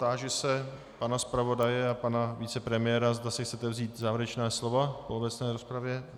Táži se pana zpravodaje a pana vicepremiéra, zda si chcete vzít závěrečná slova v obecné rozpravě.